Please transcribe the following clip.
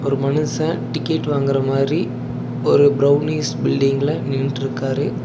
ஒரு மனுஷ டிக்கெட் வாங்கற மாரி ஒரு பிரௌனிஷ் பீல்டிங்ல நின்னுட்டுருக்காரு.